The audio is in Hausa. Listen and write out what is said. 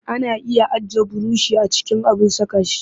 Ana iya ajiye burushi a cikin abin saka shi